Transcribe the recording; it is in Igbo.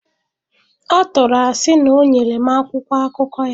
Ọ tụrụ asị na o nyere m akwụkwọ akụkọ ya.